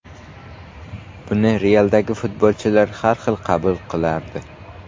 Buni ‘Real’dagi futbolchilar har xil qabul qilardi.